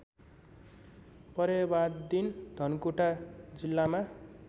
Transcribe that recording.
परेवादिन धनकुटा जिल्लामा